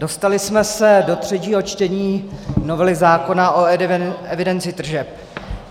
Dostali jsme se do třetího čtení novely zákona o evidenci tržeb.